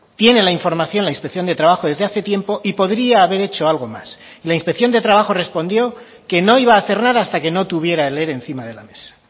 tiene la información la inspección de trabajo desde hace tiempo y podría haber hecho algo más la inspección de trabajo respondió que no iba a hacer nada hasta que no tuviera el ere encima de la mesa